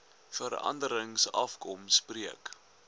veranderings afkom spreek